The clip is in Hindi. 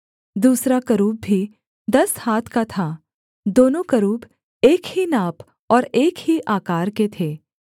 दूसरा करूब भी दस हाथ का था दोनों करूब एक ही नाप और एक ही आकार के थे